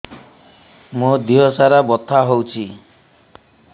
ମୋ ଦିହସାରା ବଥା ହଉଚି